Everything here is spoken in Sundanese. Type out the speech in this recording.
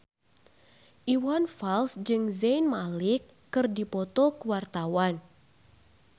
Iwan Fals jeung Zayn Malik keur dipoto ku wartawan